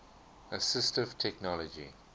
assistive technology